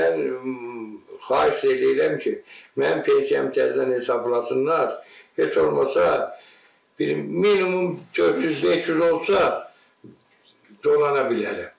Mən xahiş eləyirəm ki, mənim pensiyamı təzədən hesablasınlar, heç olmasa bir minimum 400-500 olsa, dolana bilərəm.